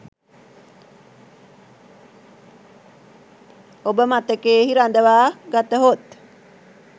ඔබ මතකයෙහි රඳවා ගතහොත්